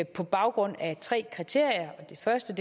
på baggrund af tre kriterier det første